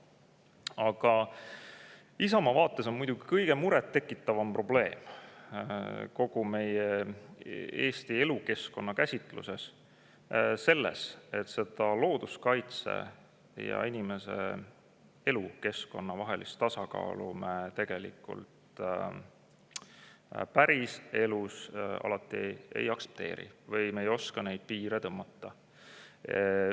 Aga Isamaa vaates on kõige muret tekitavam probleem kogu meie Eesti elukeskkonna käsitluses selles, et looduskaitse ja inimese elukeskkonna vahelist tasakaalu me tegelikult päriselus alati ei aktsepteeri või me ei oska neid piire tõmmata.